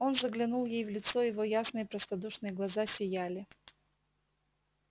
он заглянул ей в лицо его ясные простодушные глаза сияли